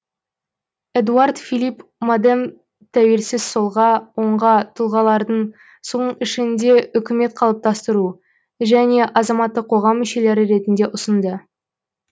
эдуар филипп модем тәуелсіз солға оңға тұлғалардың соның ішінде үкімет қалыптастыру және азаматтық қоғам мүшелері ретінде ұсынды